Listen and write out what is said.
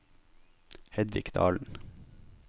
Hedvig Dahlen